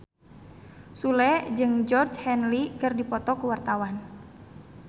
Sule jeung Georgie Henley keur dipoto ku wartawan